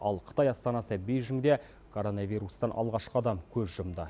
ал қытай астанасы бейжіңде коронавирустан алғашқы адам көз жұмды